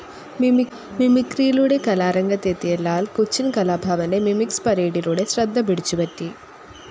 മിമിക്രിയിലൂടെ കലാരംഗത്ത് എത്തിയ ലാൽ കൊച്ചിൻ കലാഭവന്റെ മിമിക്സ്‌ പരേഡിലൂടെ ശ്രദ്ധപിടിച്ചുപറ്റി.